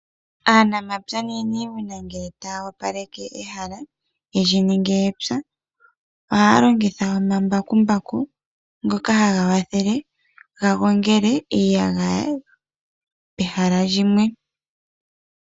Aanamapya nuuniimuna ngele taya opaleke ehala ye lyi ninge epya, ohaya longitha omambakumbaku ngoka haga kwathele ga gongele iiyagaya pehala lyimwe.